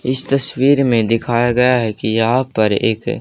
इस तस्वीर में दिखाया गया है कि यहां पर एक--